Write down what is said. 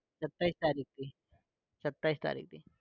સત્યાવીસ તારીખ થી